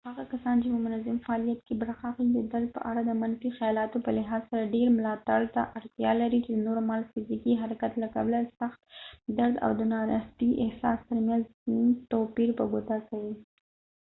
هغه کسان چې په منظم فعالیت کې برخه اخلي د درد په اړه د منفي خيالاتو په لحاظ سره ډیر ملاتړ ته اړتیا لري چې د نورمال فزيکي حرکت له کبله د سخت درد او د ناراحتي احساس ترمينځ توپير په ګوته کوي